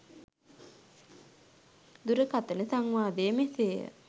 දුරකතන සංවාදය මෙසේය